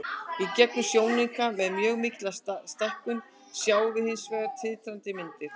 Í gegnum sjónauka, með mjög mikilli stækkun, sjáum við hins vegar tindrandi myndir.